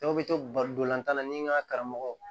Dɔw bɛ to baridolatan na ni n ka karamɔgɔ